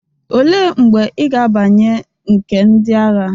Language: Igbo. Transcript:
Olee mgbe ị ga-abanye nke ndị agha?